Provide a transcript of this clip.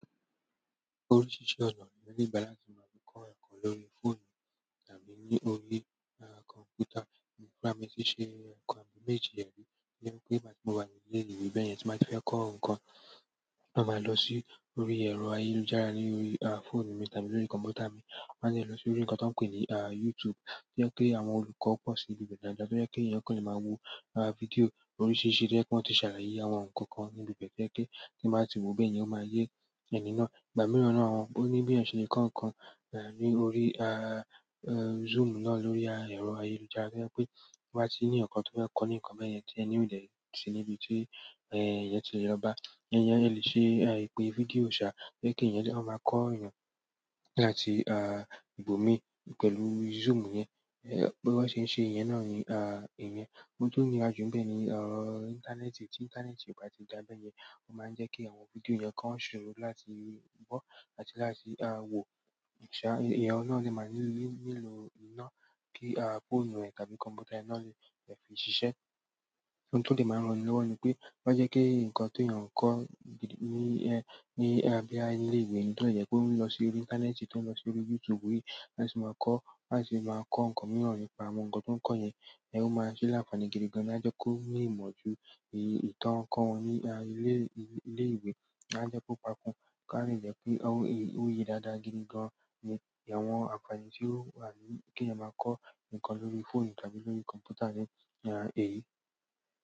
Oríṣiríṣi ọ̀nà ni èèyàn le ìgbà láti máa fi kọ́ ẹ̀kọ́ lórí fóònù tàbí ni órí kọ̀m̀pútà. Èmi fúnra mi tíṣe ẹ̀kan àbiì méjì ẹ rí, to jẹ pé ìgbà tí mo wà ní ilé ìwé bẹ́ẹ̀ yẹn tí n ba ti fẹ́ kọ́ nǹkan, ma màá lọ sí orí ẹ̀rọ ayélujára ni órí fóònù mi tàbí lórí kọ̀m̀pútà mi. Màá sì lọ sí orí nǹkan tó ń pè ní YouTube, to je pé àwọn olùkọ́ pọ̀ sí ibi bẹ́ẹ̀ dáadáa. To jẹ pe èèyàn kan le máa wo fídíò oríṣiríṣi to jẹ pe wọ́n ti ṣàlàyé àwọn nǹkan kan níbi bẹ́ẹ̀ to jẹ pe tíì ba wo bẹ́ẹ̀ yen ó máa yẹ ẹni náà. Ìgbà mìíràn nàa o ní bí èèyàn ṣe lè kọ nǹkan ní orí Zoom náà lórí ẹ̀rọ ayélujára. To jẹ pé to bá ti ní èèyàn kan tó fẹ́ kọ́ ní nǹkan bẹ́ẹ̀ yẹn tí èèyàn náà ò dè sí níbi tí èèyàn tí lè lọ bá, ẹni yẹn lè ṣe ìpè fídíò ṣá, to jẹ́ pe ó máa kọ́ èèyàn láti ibòmíi pẹ̀lú Zoom yẹn. Bí wọ́n ṣe ń ṣe eyẹn náà ìyẹn. Ohun tó dàà ju ni bẹ́ẹ̀ ni ìntanẹ́ẹ̀tì, tí ìntanẹ́ẹ̀tì ò bá ti dàbẹ́ yẹn, ó máa ń jẹ́ kí àwọn fídíò yẹn kò ṣòro láti gbọ́ àti láti wò. Ṣá, ẹ̀yẹn náà ni màá nílò iná kí fóònù ẹ tàbí kọ̀m̀pútà ẹ náà lè fi ṣiṣẹ́. Ohun tó lè máa ràn ẹni lọwọ ni pé o má jẹ́ kí nǹkan ti èèyàn kọ́ ní bóyá ilé ìwé, to de jẹ pe ó ń lọ sí orí ìntanẹ́ẹ̀tì, tó ń lọ sí orí YouTube yìí láti máa kọ́, láti máa kọ́ nǹkan mìíràn nípa àwọn nǹkan tó ń kọ́ yẹn, ẹ ó máa ṣí làfààní gidi gan an. A jẹ ko ni ìmọ̀ jù èyí to kọ wọn ni ilẹ ìwé, a jẹ kó kakun to ba de jẹ́ pé ó yẹ dáadáa gidi gan an ni àwọn àfààní tí ó wà ní kí èèyàn máa kọ́ nǹkan lórí fóònù tàbí lórí kọ̀m̀pútà ní èyí.